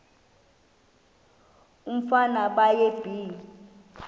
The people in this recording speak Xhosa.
umfana baye bee